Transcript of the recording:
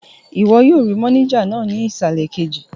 Ìwọ yóò rí mánéjà náà ní ìsàlẹ̀ kejì